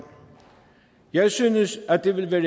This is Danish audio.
jeg synes at det vil være